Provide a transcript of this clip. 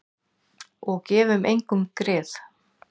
Og gefum engum grið.